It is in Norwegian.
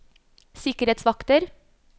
sikkerhetsvakter